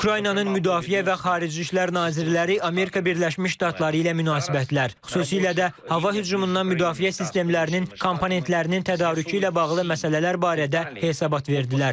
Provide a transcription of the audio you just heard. Ukraynanın müdafiə və xarici işlər nazirləri Amerika Birləşmiş Ştatları ilə münasibətlər, xüsusilə də hava hücumundan müdafiə sistemlərinin komponentlərinin tədarükü ilə bağlı məsələlər barədə hesabat verdilər.